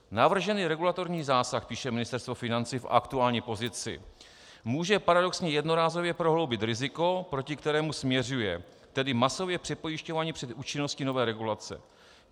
Navržený regulatorní zásah, píše Ministerstvo financí v aktuální pozici, může paradoxně jednorázově prohloubit riziko, proti kterému směřuje, tedy masově přepojišťování před účinností nové regulace.